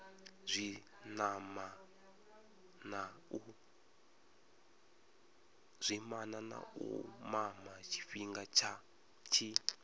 zwinamana u mama tshifhinga tshi